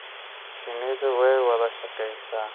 Shinnidu way wada shaqeysaa.